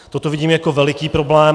Toto vidím jako veliký problém.